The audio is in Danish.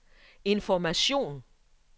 information